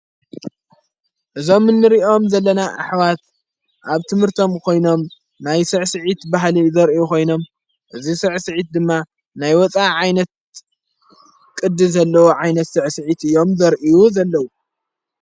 እዞም ንርእኦም ዘለና ኣኅዋት ኣብ ትምህርቶም ኾይኖም ናይ ሥዕስዐት ባህሊ ዘርኢ ኾይኖም እዙይ ስዕስዐት ድማ ናይ ወፃእ ዓይነት ቅዲ ዘለዉ ዓይነት ሥዕስዐት እዮም ዘርእዩ ዘለዉ።